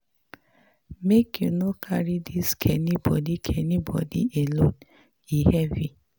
Make you no carry dis kain burden kain burden alone, e heavy.